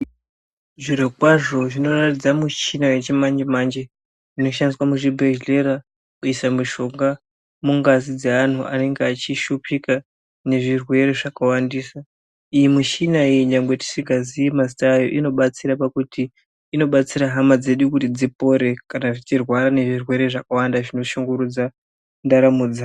Zvirokwazvo zvinoratidza michina yechimanje manje inoshandiswa muzvibhedhlera kuisa mushonga mungazi dzeanhu anenge achishupika ngezvirwere zvakawandisa, iyi mishina iyi nyangwe tisikazii mazita ayo inobatsira pakuti inobatsira hama dzedu kuti dzipore kana dzichirwara ngezvirwere zvakawanda zvinoshungurudza ndaramo yevanthu.